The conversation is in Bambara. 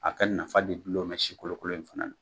A ka nafa de gulon bɛ sikolokolo in fɛnɛ na